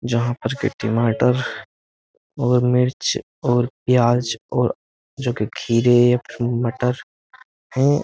जहां पर के टमाटर और मिर्च और प्याज और जो कि खीरे या फिर मटर वो --